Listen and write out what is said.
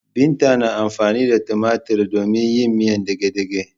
Binta na amfani da tumatiri domin yin miyan dagedage.